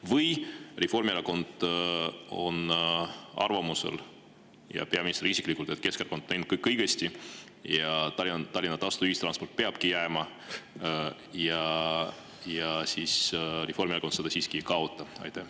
Või on Reformierakond ja peaminister isiklikult arvamusel, et Keskerakond on teinud kõik õigesti, Tallinnasse peab tasuta ühistransport jääma ja Reformierakond seda siiski ei kaota?